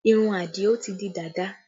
Irun Adio ti di dàda